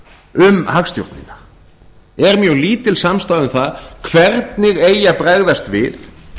um hagstjórnina er mjög lítil samstaða um það hvernig eigi að bregðast við